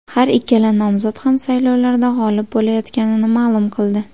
Har ikkala nomzod ham saylovlarda g‘olib bo‘layotganini ma’lum qildi.